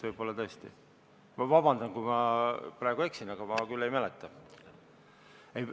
Palun vabandust, kui ma praegu eksin, aga ma küll seda ei mäleta.